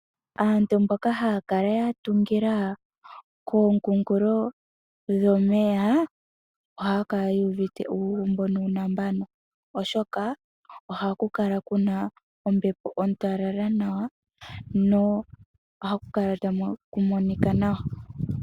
Aantu mboka haya kala yatungila komunkulo gwomeya ohaya kala ye evute uugumbo nuunambano oshoka ohaku kala kuna ombepo ontalala nawa, na oha ku kala takumonika nawa.